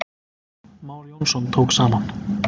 már jónsson tók saman